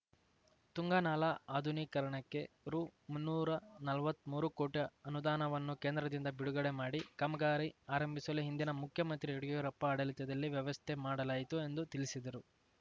ತುಂಗಾ ನಾಲಾ ಅಧುನೀಕರಣಕ್ಕೆ ರುಮುನ್ನೂರಾ ನಲ್ವತ್ಮೂರು ಕೋಟಿ ಅನುದಾನವನ್ನು ಕೇಂದ್ರದಿಂದ ಬಿಡುಗಡೆ ಮಾಡಿ ಕಾಮಗಾರಿ ಆರಂಭಿಸಲು ಹಿಂದಿನ ಮುಖ್ಯಮಂತ್ರಿ ಯಡ್ಯೂರಪ್ಪ ಆಡಳಿತದಲ್ಲಿ ವ್ಯವಸ್ಥೆ ಮಾಡಲಾಯಿತು ಎಂದು ತಿಳಿಸಿದರು